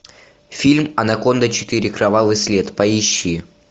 фильм анаконда четыре кровавый след поищи